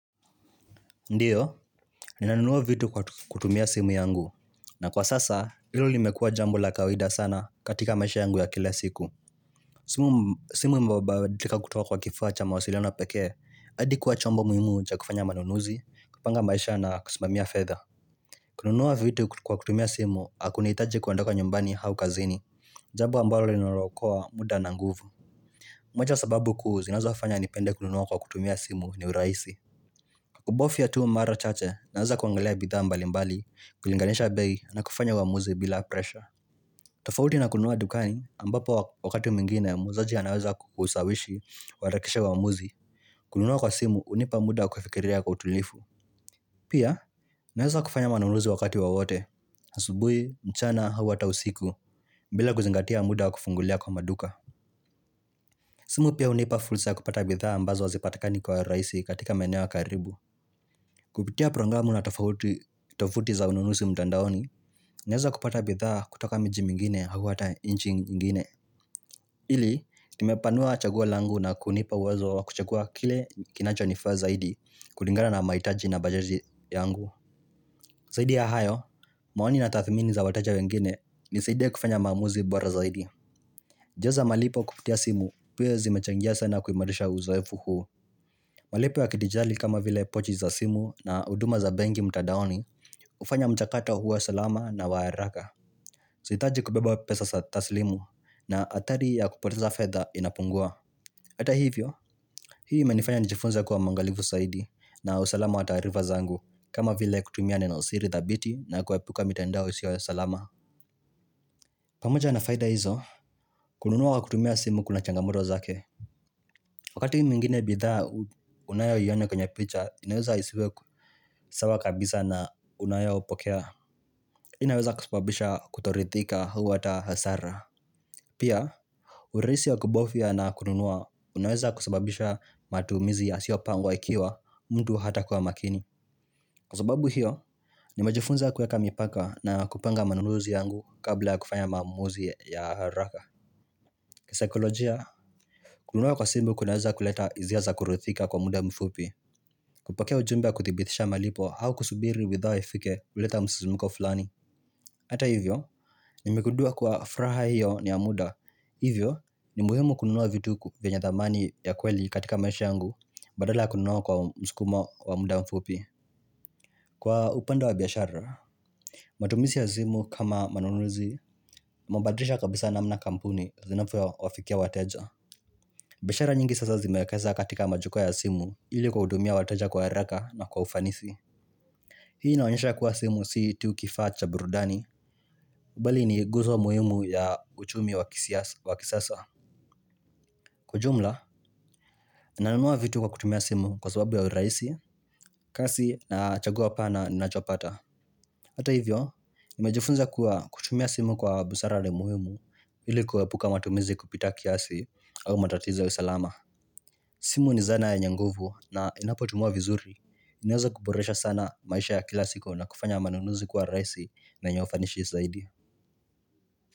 Ndiyo, ninanunua vitu kwa kutumia simu yangu, na kwa sasa, hilo limekua jambo la kawaida sana katika maisha yangu ya kila siku. Simu mbaba dilika kutoka kwa kifaa cha mawasiliano pekee, hadi kuwa chombo muhimu cha kufanya manunuzi, kupanga maisha na kusimamia fedha. Kununua vitu kwa kutumia simu, hakunihitaji kuandoka nyumbani aukazini, jambo ambalo linalo okoa muda na nguvu. Moja ya sababu kuu, zinazofanya nipende kununua kwa kutumia simu ni urahisi. Kubofia tu mara chache naweza kuangalia bidhaa mbali mbali, kulinganisha bei na kufanya uamuzi bila presha tofauti na kununua dukani ambapo wakati mwingine muuzaji anaweza kukusawishi, uharakisha uamuzi kununua kwa simu hunipa muda wa kufikiria kwa utulivu Pia naweza kufanya manunuzi wakati wowote, asubui, mchana, au ata usiku bila kuzingatia muda kufungulia kwa maduka simu pia hunipa fursa kupata bidhaa ambazo hazipatakani kwa rahisi katika maeneo ya karibu Kupitia programu na tofauti, tofuti za ununusi mtandaoni, naweza kupata bidhaa kutoka miji mingine au hata inchi ingine. Ili, limepanua chagua langu na kunipa uwezo wa kuchagua kile kinacho nifaa zaidi kulingana na mahitaji na bajaji yangu. Zaidi ya hayo, maoni na tathmini za wateja wengine nisaidia kufanya maamuzi bora zaidi. Jaza malipo kupitia simu, pia zimechangia sana kuimarisha uzoefu huu. Malipo ya kidijali kama vile pochi za simu na huduma za benki mtadaoni hufanya mchakato huwa salama na waharaka. Zihitaji kubeba pesa za tasrimu na hatari ya kupoteza fedha inapungua. Hata hivyo, hii imenifanya nijifunze kuwa mwangalifu saidi na usalama wa taarifa zangu kama vile kutumia neno siri thabiti na kuepuka mitandao isiyo ya salama. Pamoja na faida hizo, kununua kwa kutumia simu kuna changamoto zake. Wakati mwingine bidhaa unayo iona kwenye picha, inaweza isiwe sawa kabisa na unayopokea. Inaweza kusababisha kutorithika au hata hasara. Pia, urehisi ya kubofia na kununua, unaweza kusababisha matumizi ya siopangwa ikiwa mtu hata kuwa makini. Kwa sababu hiyo, ni mejifunza kuweka mipaka na kupanga manunuzi yangu kabla ya kufanya maamuzi ya haraka. Kisaikolojia, kununua kwa simbu kunaweza kuleta hisia za kurithika kwa muda mfupi kupokea ujumbe wa kuthibithisha malipo au kusubiri widhaa ifike huleta msisimko fulani Ata hivyo, nimegundua kwa furaha hiyo ni ya muda Hivyo, ni muhimu kununua vituku vyenye thamani ya kweli katika maisha yangu Badala kununua kwa mskumo wa muda mfupi Kwa upanda wa biashara, matumisi ya zimu kama manunuzi Mabadrisha kabisa namna kampuni zinavyo wafikia wateja biashara nyingi sasa zimeekeza katika majukwa ya simu ili kwa hudumia wateja kwa haraka na kwa ufanisi Hii inaonyesha kuwa simu si tukifaa cha burudani bali ni guzo muhimu ya uchumi wakisiasa, wakisasa Kwa jumla, nanunua vitu kwa kutumia simu kwa sababu ya urahisi kasi na chagua pana ninachopata Hata hivyo, nimejifunza kuwa kutumia simu kwa busara ni muhimu ili kuepuka matumizi kupita kiasi au matatizo ya usalama simu ni zana yenye nguvu na inapotumiwa vizuri inaeza kuboresha sana maisha ya kila siku na kufanya manunuzi kwa rahisi na yenye ufanishi zaidi.